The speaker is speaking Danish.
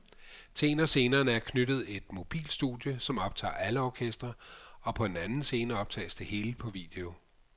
Til en af scenerne er knyttet et mobilt studie, som optager alle orkestre, og på en anden scene optages det hele på video.